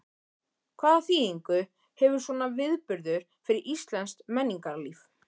Hvaða þýðingu hefur svona viðburður fyrir íslenskt menningarlíf?